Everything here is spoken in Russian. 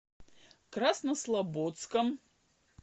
краснослободском